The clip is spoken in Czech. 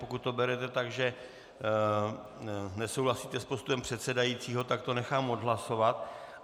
Pokud to berete tak, že nesouhlasíte s postupem předsedajícího, tak to nechám odhlasovat.